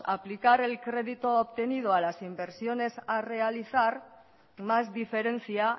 aplicar el crédito obtenido a las inversiones a realizar más diferencia